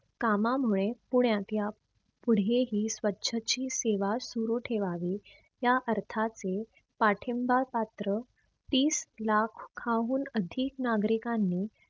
कामामुळे पुण्यात या पुढेही स्वछची सेवा सुरु ठेवावी. या अर्थाचे पाठिंबा पात्र तीस लाखाहून अधिक नागरिकांनी